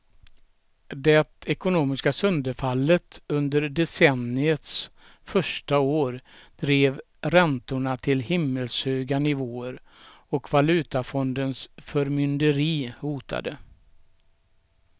Det ekonomiska sönderfallet under decenniets första år drev räntorna till himmelshöga nivåer och valutafondens förmynderi hotade.